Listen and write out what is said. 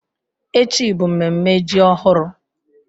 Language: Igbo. Echi bụ mmemme ji ọhụrụ